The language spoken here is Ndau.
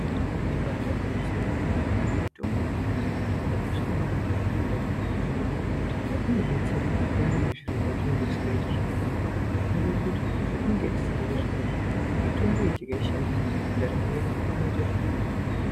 Ibairi gwinyiso yemene, mitombo yekudhaya yakakosha maningi mundaramo yedu nenyaya yekuti inodetsera payani zviro pezvinenge zvisingaiti zvakanaka. Zvinoreva kuti petinenge tisingazwi zvakanaka, mitomboyi tikaishandisa ndaramo yedu inoita zvakanaka.